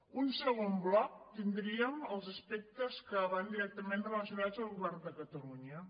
en un segon bloc tindríem els aspectes que van directament relacionats amb el govern de catalunya